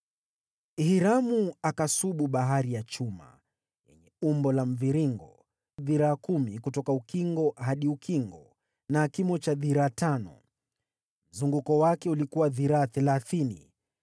Hiramu akasubu Bahari ya chuma, yenye umbo la mviringo, ya dhiraa kumi kutoka ukingo hadi ukingo na kimo cha dhiraa tano. Mzunguko wake ulikuwa dhiraa thelathini.